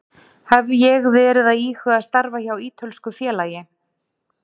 Hef ég verið að íhuga að starfa hjá ítölsku félagi?